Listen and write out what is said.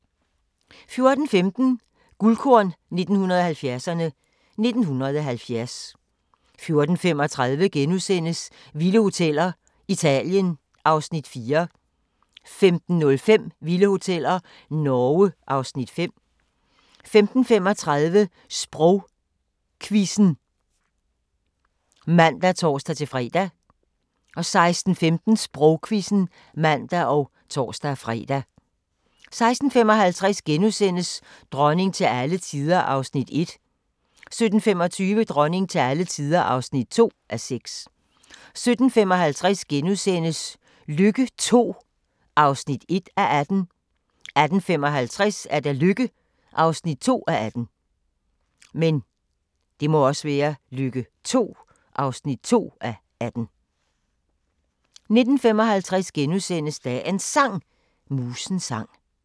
14:15: Guldkorn 1970'erne: 1970 14:35: Vilde Hoteller - Italien (Afs. 4)* 15:05: Vilde Hoteller - Norge (Afs. 5) 15:35: Sprogquizzen (man og tor-fre) 16:15: Sprogquizzen (man og tor-fre) 16:55: Dronning til alle tider (1:6)* 17:25: Dronning til alle tider (2:6) 17:55: Lykke II (1:18)* 18:55: Lykke (2:18) 19:55: Dagens Sang: Musens sang *